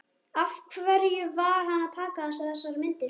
Af hverju var hann að taka þessar myndir?